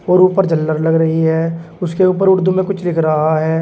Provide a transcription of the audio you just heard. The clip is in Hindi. और ऊपर झल्लर लग रही है उसके ऊपर उर्दू में कुछ लिख रहा है।